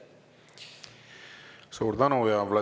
Suur tänu!